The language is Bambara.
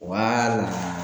Waaa la